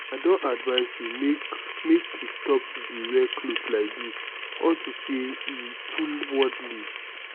i don advice you make make you stop to dey wear cloths like dis unto say e too worldly